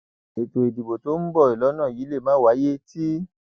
ètò ìdìbò tó ń bọ lọnà yìí lè má wáyé tì